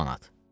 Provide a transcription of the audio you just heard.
10 manat.